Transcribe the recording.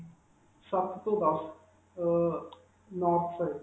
ਸੱਤ ਤੋਂ ਦਸ, ਅਅ north side.